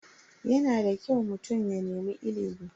Yana da kyau mutum ya nemi ilimi.